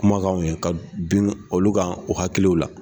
Kuma kanw ye, ka bin olu kan u hakiliw la.